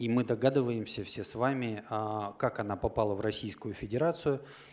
и мы догадываемся все с вами а как она попала в российскую федерацию